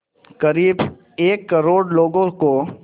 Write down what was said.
क़रीब एक करोड़ लोगों को